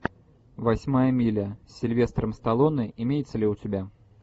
восьмая миля с сильвестром сталлоне имеется ли у тебя